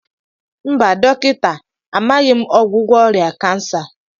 mba dọkịta, amaghị m ọgwụgwọ ọrịa kansa